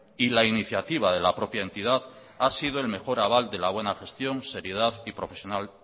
y la iniciativa de la propia entidad ha sido el mejor aval de la buena gestión seriedad